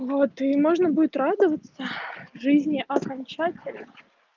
вот и можно будет радоваться жизни окончательно